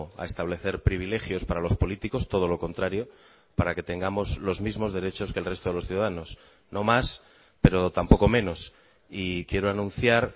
a establecer privilegios para los políticos todo lo contrario para que tengamos los mismos derechos que el resto de los ciudadanos no más pero tampoco menos y quiero anunciar